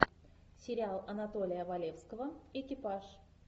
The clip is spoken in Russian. сериал анатолия валевского экипаж